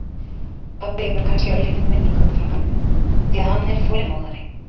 Pabbi hefur kannski örlítinn vinning umfram mömmu því að hann er þolinmóðari.